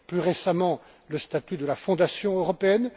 Plus récemment, le statut de la Fondation européenne.